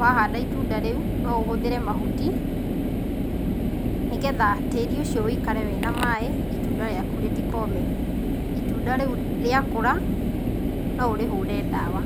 wahanda itunda rĩũ noũhũthĩre mahuti nĩgetha tĩri ũcio ũikare wĩna maĩ itunda rĩakũ rĩtĩkome. Itunda rĩũ rĩakũra noũrĩhũre ndawa.